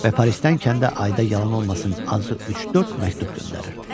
Və Parisdən kəndə ayda yalan olmasın, azı üç-dörd məktub göndərirdi.